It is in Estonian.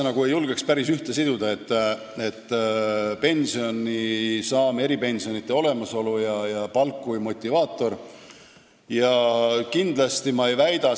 No ma neid kahte asja – pensioni saamine ja eripensionide olemasolu ning palk kui motivaator – ei julgeks nagu päris ühte siduda.